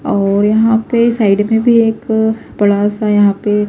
--اور یحیٰ پی سائیڈ مے بھی ایک بدا سا یحیٰ پی